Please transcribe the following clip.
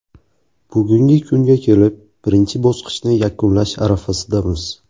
Bugungi kunga kelib, birinchi bosqichni yakunlash arafasidamiz.